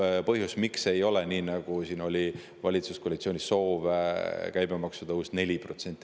See on põhjus, miks ei ole seda, kuigi see soov valitsuskoalitsioonis oli, et käibemaks tõuseks 4%.